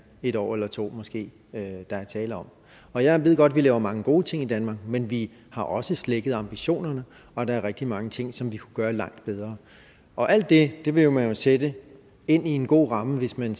et år eller to der er tale om og jeg ved godt at vi laver mange gode ting i danmark men vi har også slækket på ambitionerne og der er rigtig mange ting som vi kunne gøre langt bedre og alt det det ville man jo sætte ind i en god ramme hvis man